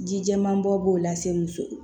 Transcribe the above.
Ji jɛman bɔ b'o la se muso ma